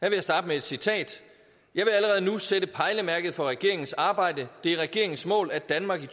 jeg starte med et citat jeg vil allerede nu sætte pejlemærker for regeringens arbejde det er regeringens mål at danmark i